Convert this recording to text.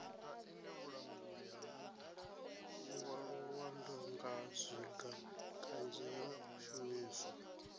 ngwaluwa ndongazwiga kanzhi yo shumiswa